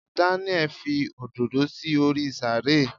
Daniel Fi òdòdó sí orí sàárè